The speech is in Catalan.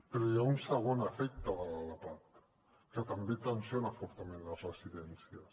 però hi ha un segon efecte de la lapad que també tensiona fortament les residències